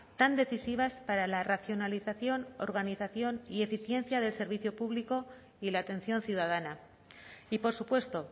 tan decisivas para la racionalización organización y eficiencia del servicio público y la atención ciudadana y por supuesto